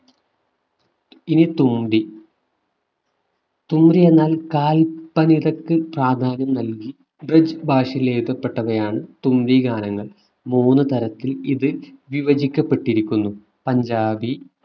ഇനി തുമ്പി. തുമ്പി എന്നാൽ കാല്പനികക്ക് പ്രാധാന്യം നൽകി ബ്രിജ് ഭാഷയിൽ എഴുതപ്പെട്ടതാണ് തുമ്പി ഗാനങ്ങൾ. മൂന്നു തരത്തിൽ ഇത് വിഭജിക്കപ്പെട്ടിരിക്കുന്നു പഞ്ചാബി